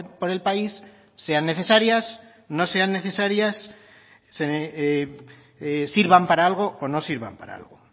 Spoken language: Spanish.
por el país sean necesarias no sean necesarias sirvan para algo o no sirvan para algo